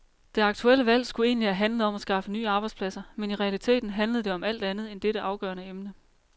Det aktuelle valg skulle egentlig have handlet om at skaffe nye arbejdspladser, men i realiteten handlede det om alt andet end dette afgørende emne.